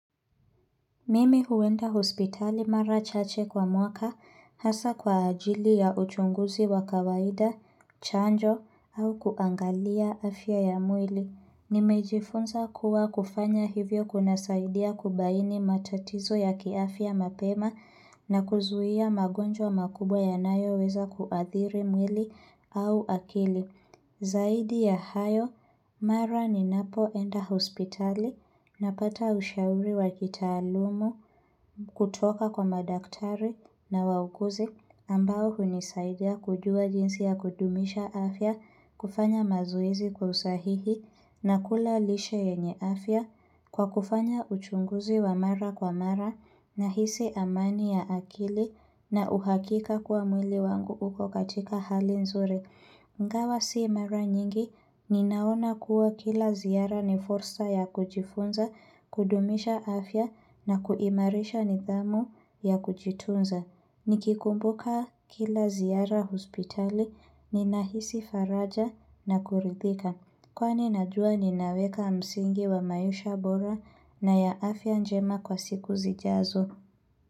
Mimi huenda hospitali mara chache kwa mwaka hasa kwa ajili ya uchunguzi wa kawaida, chanjo au kuangalia afya ya mwili. Nimejifunza kuwa kufanya hivyo kuna saidia kubaini matatizo ya kiafya mapema na kuzuia magonjwa makubwa yanayoweza kuadhiri mwili au akili. Zaidi ya hayo, mara ni napo enda hospitali na pata ushauri wakitaluma kutoka kwa madaktari na wauguzi ambao hunisaidia kujua jinsi ya kudumisha afya kufanya mazoezi kwa usahihi na kula lishe yenye afya kwa kufanya uchunguzi wa mara kwa mara na hisi amani ya akili na uhakika kuwa mwili wangu uko katika hali nzuri. Ngawa si mara nyingi, ninaona kuwa kila ziara ni fursa ya kujifunza, kudumisha afya na kuimarisha nidhamu ya kujitunza. Nikikumbuka kila ziara hospitali, ninahisi faraja na kuridhika. Kwani najua ninaweka msingi wa maisha bora na ya afya njema kwa siku zijazo.